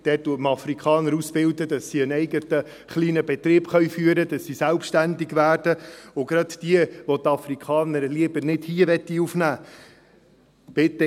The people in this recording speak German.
Dort bildet man Afrikaner aus, damit sie einen eigenen kleinen Betrieb führen können, damit sie selbstständig werden, und gerade für diejenigen, welche die Afrikaner lieber nicht hier aufnehmen wollen: